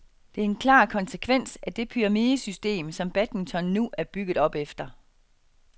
Det er en klar konsekvens af det pyramidesystem, som badminton nu er bygget op efter.